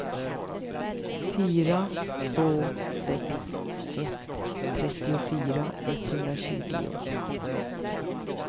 fyra två sex ett trettiofyra etthundratjugo